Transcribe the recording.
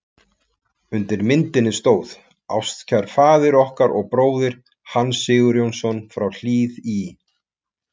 Undir myndinni stóð: Ástkær faðir okkar og bróðir, Hans Sigurjónsson frá Hlíð í